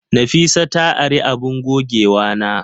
Nafisa ta ari abun gogewana.